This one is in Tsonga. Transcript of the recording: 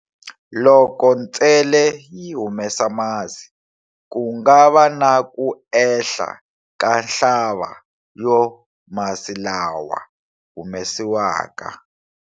Loko ntsele yi humesa masi, ku nga va na ku ehla ka nhlaba yo masi lawa humesiwaka.